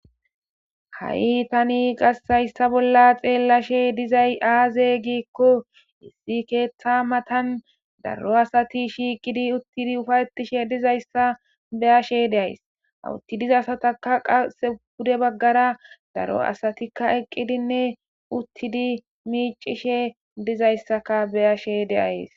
Ha'i Tani haysa bola xelashe dizay aze giko issi ketha matan daro asati shiqidi uttidi ufayetishe dizaysa beyashe deyays ha utti diza asatape qase pide bagara daro asatika eqidinne uttidi micishe dizaysaka beyashe deyays